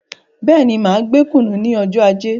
Bẹ́ẹ̀ni, máa gbé kùnú ní ọjọ ajé